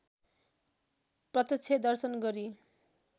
प्रत्यक्ष दर्शन गरी